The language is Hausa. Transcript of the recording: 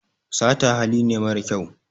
sata hali ne mara kyau